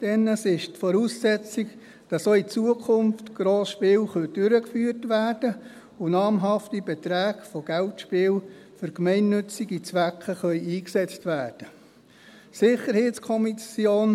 Denn er ist die Voraussetzung, dass auch in Zukunft Grossspiele durchgeführt und namhafte Beträge von Geldspielen für gemeinnützige Zwecke eingesetzt werden können.